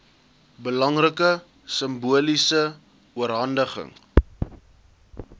belangrike simboliese oorhandiging